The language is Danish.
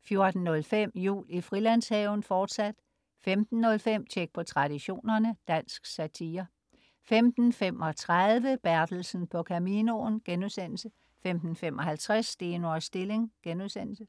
14.05 Jul i Frilandshaven, fortsat 15.05 Tjek på Traditionerne. Dansk satire 15.35 Bertelsen på Caminoen* 15.55 Steno og Stilling*